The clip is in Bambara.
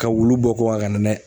Ka wulu bɔ kokan ka na n'a ye.